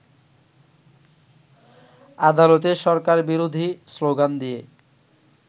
আদালতে সরকারবিরোধী শ্লোগান দিয়ে